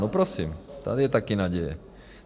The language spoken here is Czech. No prosím, tady je taky naděje.